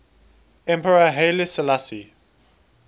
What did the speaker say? emperor haile selassie